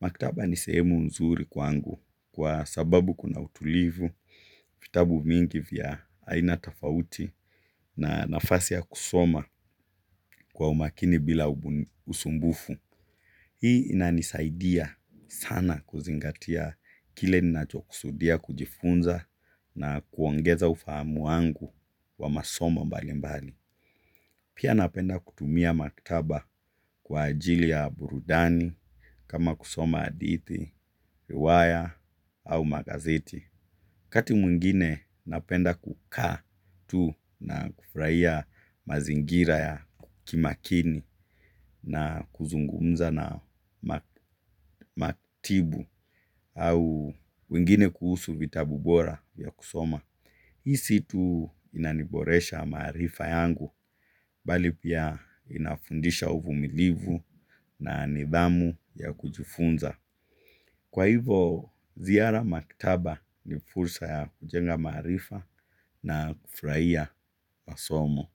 Makitaba ni sehemu nzuri kwangu kwa sababu kuna utulivu, vitabu mingi vya aina tofauti na nafasi ya kusoma kwa umakini bila usumbufu. Hii inanisadia sana kuzingatiya kile ninacho kusudia kujifunza na kuongeza ufahamu wangu wa masomo mbalimbali. Pia napenda kutumiya maktaba kwa ajili ya burudani kama kusoma adithi, riwaya au magazeti. Wakati mwingine napenda kukaa tu na kufraia mazingira ya kimakini na kuzungumza na maktibu au pengine kuhusu vitabu bora vya kusoma. Hii si tu inaniboresha marifa yangu bali pia inafundisha uvumilivu na nidhamu ya kujifunza. Kwa hivo, ziara makitaba ni fursa ya kujenga marifa na kufraia masomo.